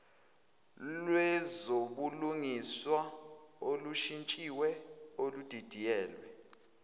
lwezobulungiswa olushintshiwe oludidiyelwe